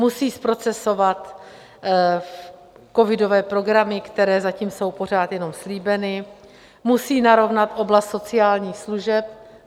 Musí zprocesovat covidové programy, které zatím jsou pořád jenom slíbeny, musí narovnat oblast sociálních služeb.